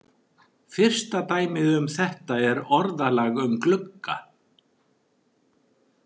Fyrsta dæmið um þetta er orðalag um glugga.